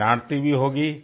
वो डांटती भी होगी